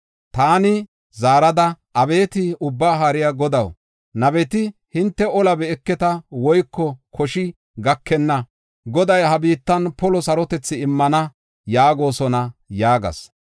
Taani zaarada, “Abeeti Ubbaa Haariya Godaw, nabeti ‘Hinte ola be7eketa woyko koshi gakenna. Goday ha biittan polo sarotethi immana’ yaagosona” yaagas.